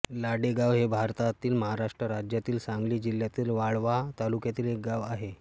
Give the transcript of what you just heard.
लाडेगाव हे भारतातील महाराष्ट्र राज्यातील सांगली जिल्ह्यातील वाळवा तालुक्यातील एक गाव आहे